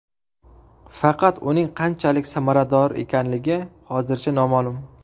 Faqat uning qanchalik samarador ekanligi hozircha noma’lum.